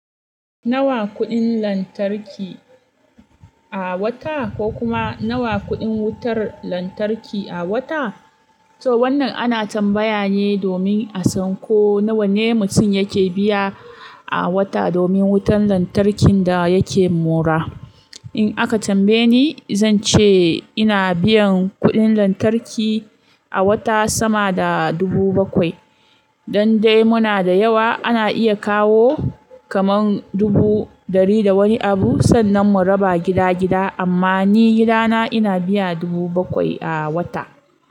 Nawa kuɗin lantarki a wata ko kuma nawa kuɗin wutar lantarki a wata? To wannan ana tambaya ne domin a san ko nawa ne mutum yake biya a wata domin wutar lantarkin da yake mora. In aka tambaye ni, zan ce ina biyan kuɗin lantarki a wata sama da dubu bakwai. Dan dai muna da yawa ana iya kawo kamar dubu ɗari da wani abu sannan mu raba gida gida amma ni gidana ina biya dubu bakwai a wata.